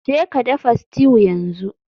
Jeka dafa stew yanzu.